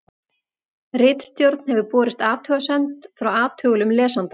ritstjórn hefur borist athugasemd frá athugulum lesanda